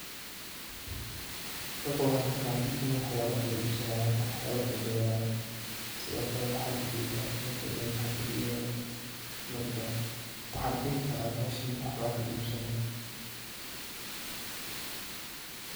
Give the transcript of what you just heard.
Halkan waxan kafahme ini waxyabo kala ibsanayo ama waxyabo lakala qadanayo, sidiokale waxan ujedah ninka inu lacagta dibayo marka waxan dihi kara meshan waxba lakala ibsanaya.